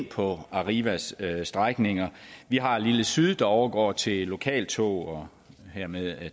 på arrivas strækninger vi har lille syd der overgår til lokaltog og hermed